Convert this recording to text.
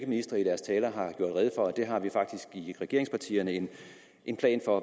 ministre i deres taler har gjort rede for at det har vi i regeringspartierne en en plan for